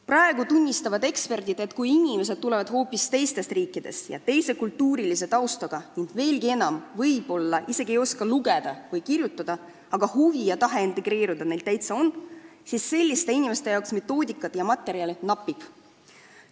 Praegu tunnistavad eksperdid, et kui inimesed tulevad siia teistest riikidest ja on hoopis teise kultuuritaustaga ning võib-olla isegi ei oska lugeda ega kirjutada, aga huvi ja tahe integreeruda neil täitsa on, siis selliste inimeste jaoks metoodikat ja materjale napib.